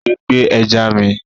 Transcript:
Ejò gbé ẹja mi